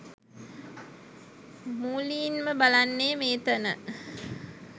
මූලීන්ම බලන්නේ මේතන